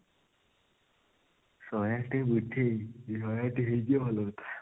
ଶହେ ଆଠ ଟିକେ ବୁଝେ ଯଦି ଶହେ ଆଠ ହେଇଯିବ ତାହେଲେ ଭଲ କଥା